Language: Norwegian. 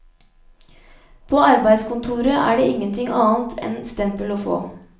På arbeidskontoret er det ingenting annet enn stempel å få.